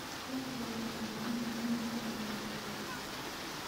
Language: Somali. Laxdu waxay u baahan tahay in laga ilaaliyo dugaagga.